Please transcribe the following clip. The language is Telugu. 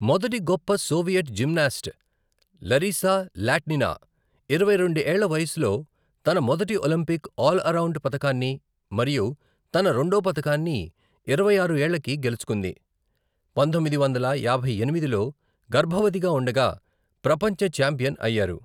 మొదటి గొప్ప సోవియట్ జిమ్నాస్ట్ లరిసా లాట్నినా ఇరవై రెండు ఏళ్ల వయసులో తన మొదటి ఒలింపిక్ ఆల్ అరౌండ్ పతకాన్ని, మరియు తన రెండో పతకాన్ని ఇరవై ఆరు ఏళ్లకి గెలుచుకుంది, పంతొమ్మిది వందల యాభై ఎనిమిదిలో, గర్భవతిగా ఉండగా ప్రపంచ ఛాంపియన్ అయ్యారు.